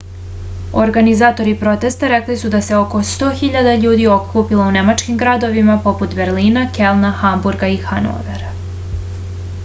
organizatori protesta rekli su da se oko 100 000 ljudi okupilo u nemačkim gradovima poput berlina kelna hamburga i hanovera